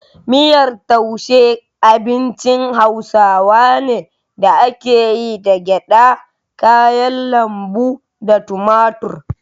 Miyar taushe abincin hausa ne da ake yi da gyada, kayan lambu, da tumatir.